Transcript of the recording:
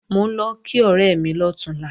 Mò ń lọ kí ọ̀rẹ́ mi lọ̀túnla